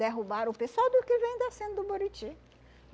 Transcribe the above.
Derrubaram o pessoal do que vem descendo do Buriti.